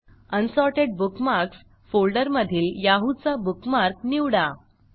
unsorted bookmarks फोल्डरमधील Yahoo चा bookmark निवडा